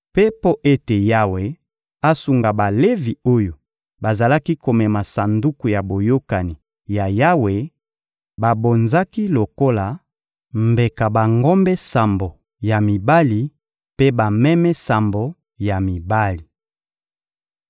Mpe mpo ete Yawe asunga Balevi oyo bazalaki komema Sanduku ya Boyokani ya Yawe, babonzaki lokola mbeka bangombe sambo ya mibali mpe bameme sambo ya mibali.